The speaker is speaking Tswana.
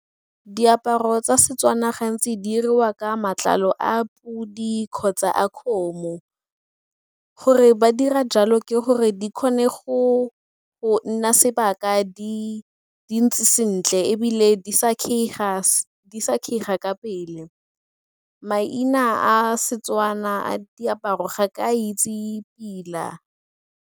Diaparo tsa Setswana gantsi di diriwa ka matlalo a podi kgotsa a kgomo. Gore ba dira jalo ke gore di kgone go nna sebaka di ntse sentle ebile di sa kgeiga ka pele. Maina a Setswana a diaparo ga ke a itse pila.